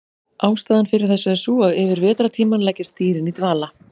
Ástæðan fyrir þessu er sú að yfir vetrartímann leggjast dýrin í dvala.